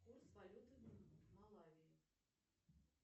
курс валюты в малавии